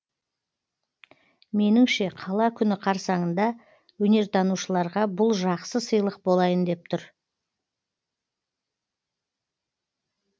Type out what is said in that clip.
меніңше қала күні қарсаңында өнертанушыларға бұл жақсы сыйлық болайын деп тұр